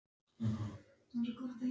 Ormur Sturluson átti Sauðafell í Dölum.